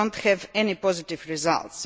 we do not have any positive results.